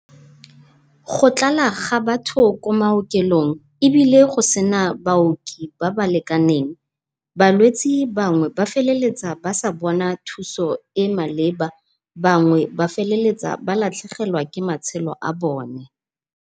Go tlala ga batho ko ma okelong, ebile go sena baoki ba ba lekaneng, balwetsi bangwe ba feleletsa ba sa bona thuso e maleba bangwe ba feleletsa ba latlhegelwa ke matshelo a bone.